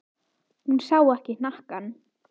Hún sá ekki hnakkann.